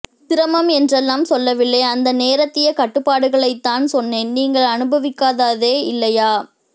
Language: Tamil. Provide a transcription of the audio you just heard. சிரமம் என்றெல்லாம் சொல்லவில்லை அந்த நேரத்திய கட்டுப்பாடுகளைத்தான் சொன்னேன் நீங்கள் அனுபவிக்காத்சதே இல்லையா